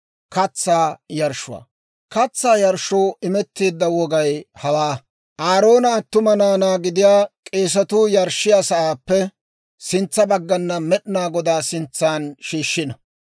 « ‹Katsaa yarshshoo imetteedda wogay hawaa: Aaroona attuma naanaa gidiyaa k'eesatuu yarshshiyaa sa'aappe sintsa baggana Med'inaa Godaa sintsan shiishshino.